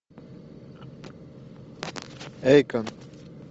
эйкон